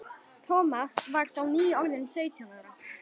Thomas var þá nýorðinn sautján ára.